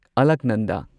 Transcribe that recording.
ꯑꯂꯛꯅꯟꯗ